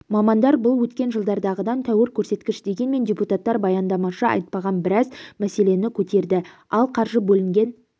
мамандар бұл өткен жылдардағыдан тәуір көрсеткіш дегенмен депутаттар баяндамашы айтпаған біраз мәселені көтерді ал қаржы бөлінген